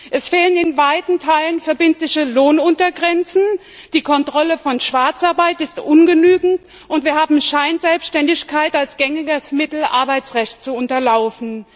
Es fehlen in weiten Teilen verbindliche Lohnuntergrenzen, die Kontrolle von Schwarzarbeit ist ungenügend, und wir haben Scheinselbständigkeit als gängiges Mittel, Arbeitsrecht zu unterlaufen.